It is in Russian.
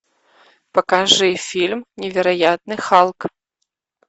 покажи фильм невероятный халк